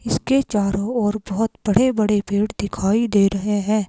इसके चारों ओर बहुत बड़े बड़े पेड़ दिखाई दे रहे हैं।